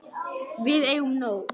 Við eigum nóg.